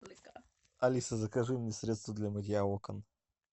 алиса закажи мне средство для мытья окон